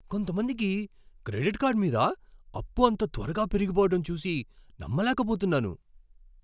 కొంతమందికి credit card మీద అప్పు అంత త్వరగా పెరిగిపోవడం చూసి నమ్మలేకపోతున్నాను.